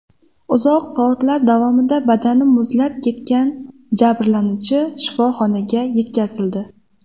Uzoq soatlar davomida badani muzlab ketgan jabrlanuvchi shifoxonaga yetkazildi.